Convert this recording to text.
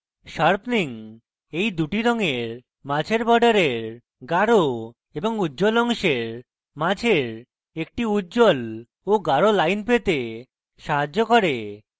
sharpening এই দুটি রঙের মাঝের বর্ডারের গাঢ় এবং উজ্জ্বল অংশের মাঝের একটি উজ্জ্বল of গাঢ় line পেতে সাহায্য করে